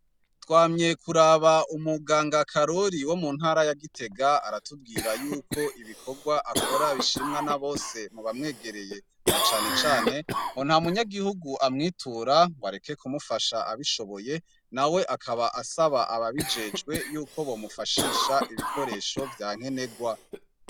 Twamye kuraba Umuganga Karori wo muntara ya Gitega, aratubwira yuko ibikorwa akora bishimwa na bose, mu bamwegereye, na cane cane, ngo nta munyagihugu amwitura ngo areke kumufasha abishoboye nawe akaba asaba ababijejwe yuko bomufashisha ibikoresho vya nkenerwa.